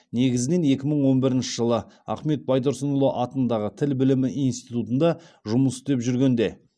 негізінен екі мың он бірінші жылы ахмет байтұрсынұлы атындағы тіл білімі институтында жұмыс істеп жүргенде